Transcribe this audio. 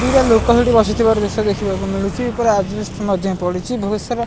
ଦିଟା ଲୋକ ସେଠି ବସିଥିବାର ଦୃଶ୍ୟ ଦେଖିବାକୁ ମିଳୁଛି ଉପରେ ଆଜବେଷ୍ଟସ ମଧ୍ୟ ପଡ଼ିଛି ବହୁତ ସାରା --